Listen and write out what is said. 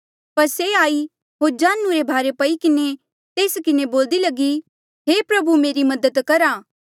पर से आई होर जांढू रे भारे पई किन्हें तेस किन्हें बोल्दी लगी हे प्रभु मेरी मदद करा